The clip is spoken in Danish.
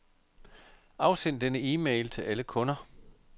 Afsend denne e-mail til alle kunder.